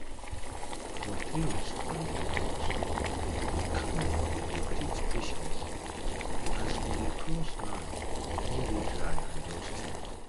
for tales from de north de camel dey teach patience as e dey as e dey cross land wey dey dry and dusty